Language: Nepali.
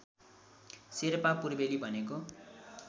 शेर्पा पूर्वेली भनेको